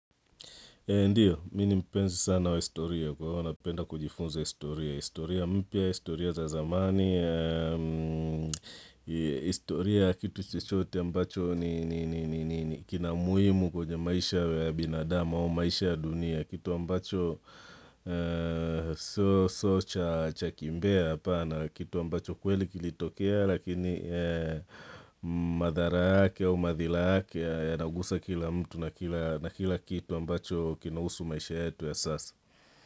Ndio, mimi ni mpenzi sana wa historia kwa hivo napenda kujifunza historia, historia mpya, historia za zamani, historia ya kitu chochote ambacho ni kina muhimu kwenye maisha ya binadama au maisha ya dunia, Kitu ambacho sio cha kimbea apana kitu ambacho kweli kilitokea Lakini madhara yake au madhila yake yanagusa kila mtu na kila kitu ambacho kina husu maisha yetu ya sasa.